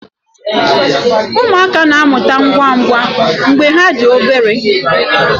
Ụmụaka na-amụta ngwa ngwa mgbe ha dị obere